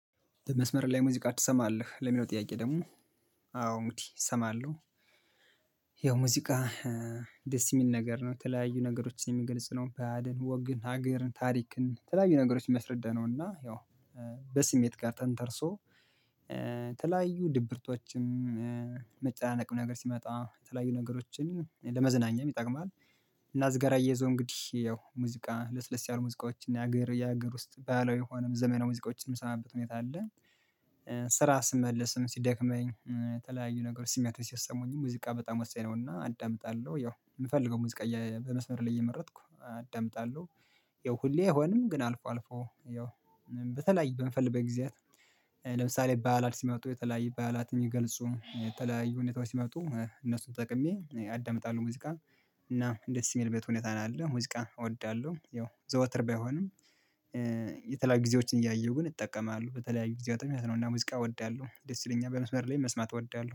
በመስመር ላይ ሙዚቃ ትሰማለህ? ለሚለው ጥያቄ ደግሞ አዎ እንግዲህ እሰማለሁ። ያው ሙዚቃ ደስ የሚል ነገር ነው። የተለያዩ ነገሮችን የሚገልጽ ነው በዕልን፣ ወግን፣ ሀገርን፣ ታሪክን የተለያዩ ነገሮችን ነው እና ያው በስሜት ጋር ተንተርሶ ተለያዩ ድብርቶችም መጨናነቅም ነገር ሲመጣ የተለያዩ ነገሮችን ለመዝናኛም ይጠቅማል እና ከዚህ ጋራ አያይዞ እንግዲህ ያው ሙዚቃ ለስለስ ያሉ ሙዚቃዎችን የሀገር የሀገር ውስጥ ባህላዊ የሆኑ ዘመናዊ ሙዚቃዎች የምንሰማበት ሁኔታ አለ። ከስራ ስመለስም ሲደክመኝ ተለያዩ ነገሮች ስሜቶች ሲሰሙኝ ሙዚቃ በጣም ወሳኝ ነው እና አዳምጣለሁ ያው የምፈልገው ሙዚቃ በመስመር ላይ እየመረጥኩ አዳምጣለሁ። ያው ሁሌ አይሆንም ግን አልፎ አልፎ ያው በተለያዩ በምፈልግበት ጊዜያት ለምሳሌ ባዕላት ሲመጡ የተለያዩ ባዕላት እንዲገልጹ የተለያዩ ሁኔታዎች ሲመጡ እነሱን ተጠቅሜ አዳምጣለሁ ሙዚቃ። እናም ደስ በሚል ሁኔታ ነው ያለው። ሙዚቃን እወዳለሁ ያው ዘወትር ባይሆንም የተለያዩ ጊዜዎችን እያየሁ ግን እጠቀማለሁ። በተለያዩ ጊዜያትም እንደዚህ ያለ ሙዚቃ እወዳለሁ። ደስ ይለኛል በመስመር ላይ መስማት እወዳለሁ።